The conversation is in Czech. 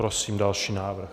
Prosím další návrh.